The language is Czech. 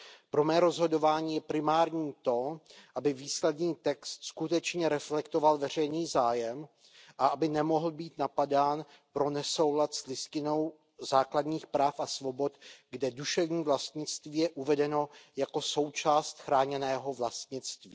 Pro mé rozhodování je primární to, aby výsledný text skutečně reflektoval veřejný zájem a aby nemohl být napadán pro nesoulad s Listinou základních práv a svobod, kde duševní vlastnictví je uvedeno jako součást chráněného vlastnictví.